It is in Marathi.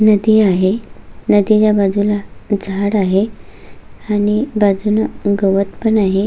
नदी आहे नदीच्या बाजुला झाड आहे आणि बाजुन गवत पण आहे.